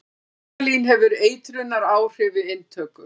Formalín hefur eitrunaráhrif við inntöku.